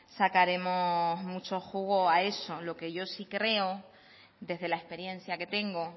sacaremos mucho jugo a eso lo que yo sí creo desde la experiencia que tengo